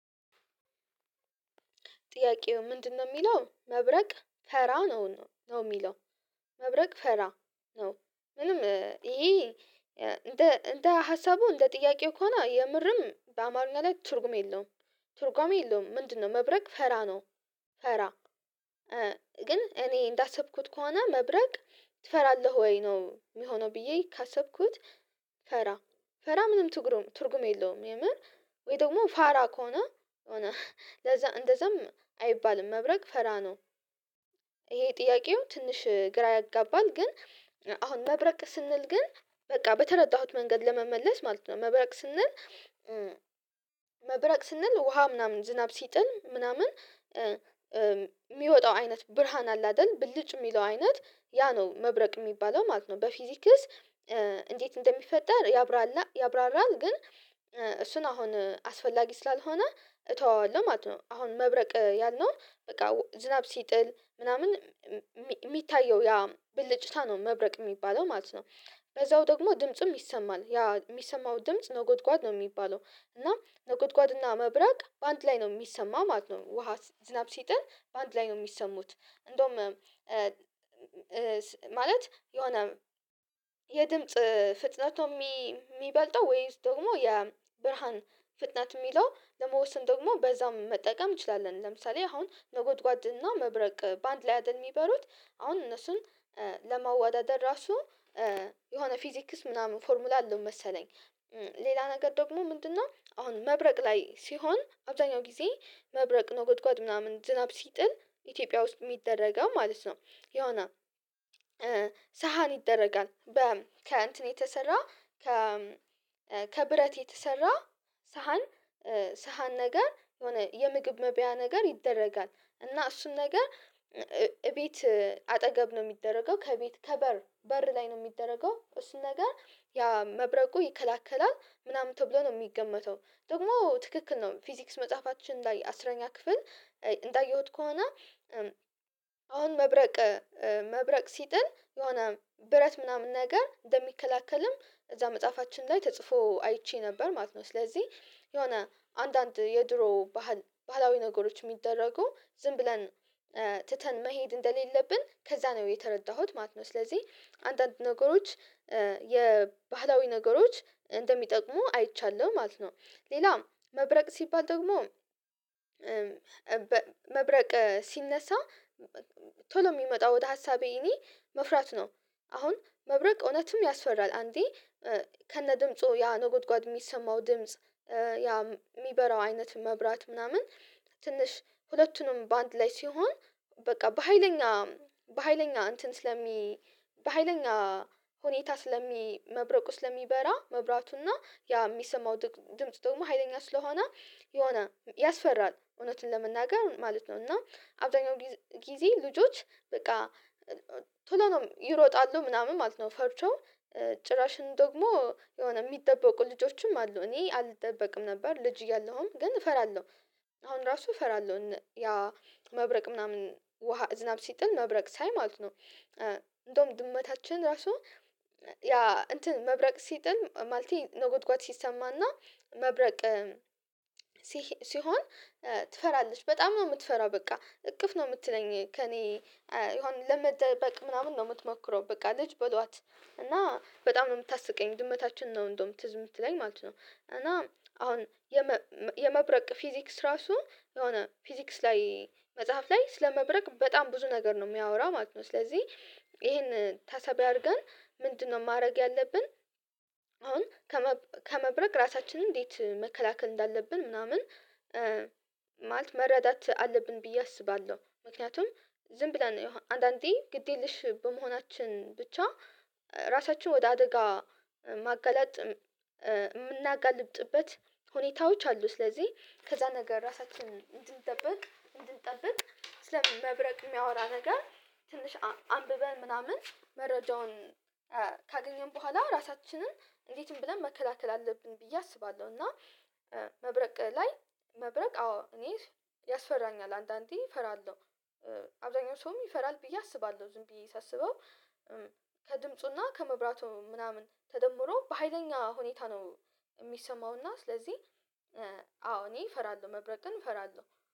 ጥያቄው ምንድነው የሚለው መብረቅ ፈራ ነው ነው የሚለው። መብረቅ ፈራ ነው። ምንም ይሄ እንደ እንደ ሀሳቡ እንደ ጥያቄው ከሆነ የምርም በአማርኛ ላይ ትርጉም የለውም። ቱርጋሚ የለውም ምንድነው መብረቅ ፈራ ነው ፈራ። ግን እኔ እንዳሰብኩት ከሆነ መብረቅ ትፈራለህ ወይ ነው የሚሆነው ብዬ ካሰብኩት ፈራ ፈራ ምንም ትርጉም የለውም የምር ወይ ደግሞ ፋራ ከሆነ ለዛ እንደዛም አይባልም መብረቅ ፈራ ነው። ይሄ ጥያቄው ትንሽ ግራ ያጋባል ግን አሁን መብረቅ ስንል ግን በቃ በተረዳሁት መንገድ ለመመለስ ማለት ነው መብረቅ ስንል መብረቅ ስንል ውሃ ምናምን ዝናብ ሲጥል ምናምን የሚወጣው አይነት ብርሃን አለ አይደል ብልጭ የሚለው አይነት ያ ነው መብረቅ የሚባለው ማለት ነው። በፊዚክስ እንዴት እንደሚፈጠር ያብራራልና ያብራራል ግን እሱን አሁን አስፈላጊ ስላልሆነ እተወዋለሁ ማለት ነው። አሁን መብረቅ ያልነው በቃ ዝናብ ሲጥል ምናምን የሚታየው ያ ብልጭታ ነው መብረቅ የሚባለው ማለት ነው። በዛው ደግሞ ድምጽም ይሰማል። ያ የሚሰማው ድምጽ ነጎድጓድ ነው የሚባለው። እና ነቁጥቋጥና መብራቅ በአንድ ላይ ነው የሚሰማ ማለት ነው። ውሃ ዝናብ ሲጥል በአንድ ላይ ነው የሚሰሙት። እንደውም ማለት የሆነ የድምጽ ፍጥነቱ የሚበልጠው ወይስ ደግሞ የብርሃን ፍጥነት የሚለው ለመወሰን ደግሞ በዛም መጠቀም እንችላለን። ለምሳሌ አሁን መጎድጓድ እና መብረቅ በአንድ ላይ አይደል የሚበሩት አሁን እነሱን ለመዋዳደር ራሱ የሆነ ፊዚክስ ምናምን ፎርሙላ አለው መሰለኝ። ሌላ ነገር ደግሞ ምንድነው አሁን መብረቅ ላይ ሲሆን አብዛኛው ጊዜ መብረቅ መጉድጓድ ምናምን ዝናብ ሲጥል ኢትዮጵያ ውስጥ የሚደረገው ማለት ነው የሆነ ሳህን ይደረጋል። በ ከእንትን የተሰራ ከ ከብረት የተሰራ ሳህን ሳህን ነገር የሆነ የምግብ መብያ ነገር ይደረጋል። እና እሱን ነገር እቤት አጠገብ ነው የሚደረገው። ከቤት ከበር በር ላይ ነው የሚደረገው። እሱን ነገር ያ መብረቁ ይከላከላል ምናምን ተብሎ ነው የሚገመተው። ደግሞ ትክክል ነው ፊዚክስ መጽሐፋችን ላይ አስረኛ ክፍል እንዳየሁት ከሆነ አሁን መብረቅ መብረቅ ሲጥል የሆነ ብረት ምናምን ነገር እንደሚከላከልም እዛ መጽሐፋችን ላይ ተጽፎ አይቼ ነበር ማለት ነው። ስለዚህ የሆነ አንዳንድ የድሮ ባህል ባህላዊ ነገሮች የሚደረጉ ዝም ብለን ትተን መሄድ እንደሌለብን ከዛ ነው የተረዳሁት ማለት ነው። ስለዚህ አንዳንድ ነገሮች የባህላዊ ነገሮች እንደሚጠቅሙ አይቻለሁ ማለት ነው። ሌላ መብረቅ ሲባል ደግሞ መብረቅ ሲነሳ ቶሎ የሚመጣው ወደ ሀሳቤ እኔ መፍራት ነው። አሁን መብረቅ እውነትም ያስፈራል። አንዴ ከነ ድምፁ ያ ነጎድጓድ የሚሰማው ድምጽ ያ የሚበራው አይነት መብራት ምናምን ትንሽ ሁለቱንም በአንድ ላይ ሲሆን በቃ በሃይለኛ በሃይለኛ እንትን ስለሚ በሃይለኛ ሁኔታ ስለሚ መብረቁ ስለሚበራ መብራቱና ያ የሚሰማው ድምጽ ደግሞ ሀይለኛ ስለሆነ የሆነ ያስፈራል። እውነትን ለመናገር ማለት ነው እና አብዛኛው ጊዜ ልጆች በቃ ቶሎ ነው ይሮጣሉ ምናምን ማለት ነው ፈርቶ ጭራሽን ደግሞ የሆነ የሚጠበቁ ልጆችም አሉ። እኔ አልጠበቅም ነበር ልጅ እያለሁም ግን እፈራለሁ። አሁን ራሱ እፈራለሁ ያ መብረቅ ምናምን ውሃ ዝናብ ሲጥል መብረቅ ሳይ ማለት ነው። እንደውም ድመታችን ራሱ ያ እንትን መብረቅ ሲጥል ማለት ነጎድጓድ ሲሰማና መብረቅ ሲሆን ትፈራለች። በጣም ነው የምትፈራው በቃ እቅፍ ነው የምትለኝ ከእኔ የሆነ ለመደበቅ ምናምን ነው የምትሞክረው። በቃ ልጅ በሏት። እና በጣም ነው የምታስቀኝ ድመታችን ነው እንደውም ትዝ የምትለኝ ማለት ነው። እና አሁን የመብረቅ ፊዚክስ ራሱ የሆነ ፊዚክስ ላይ መጽሐፍ ላይ ስለመብረቅ በጣም ብዙ ነገር ነው የሚያወራ ማለት ነው። ስለዚህ ይሄን ተሳቢ አድርገን ምንድነው ማድረግ ያለብን፣ አሁን ከመብረቅ ራሳችንን እንዴት መከላከል እንዳለብን ምናምን ማለት መረዳት አለብን ብዬ አስባለሁ። ምክንያቱም ዝም ብለን አንዳንዴ ግድ የለሽ በመሆናችን ብቻ ራሳችን ወደ አደጋ ማገለጥ የምናጋልብጥበት ሁኔታዎች አሉ። ስለዚህ ከዛ ነገር ራሳችንን እንድንጠብቅ እንድንጠብቅ ስለ መብረቅ የሚያወራ ነገር ትንሽ አንብበን ምናምን መረጃውን ካገኘን በኋላ ራሳችንን እንዴትም ብለን መከላከል አለብን ብዬ አስባለሁ። እና መብረቅ ላይ መብረቅ አዎ እኔ ያስፈራኛል አንዳንዴ ፈራለሁ። አብዛኛው ሰውም ይፈራል ብዬ አስባለሁ ዝም ብዬ ሳስበው። ከድምጹና ከመብራቱ ምናምን ተደምሮ በሃይለኛ ሁኔታ ነው የሚሰማውና ስለዚህ አዎ እኔ እፈራለሁ መብረቅን እፈራለሁ።